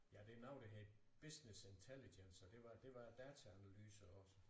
Ja det er noget der hedder business intelligence og det var det var data analyse også